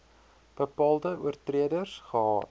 bepaalde oortreders gehad